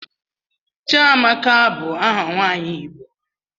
Chiamaka bu aha nwanyi igbo.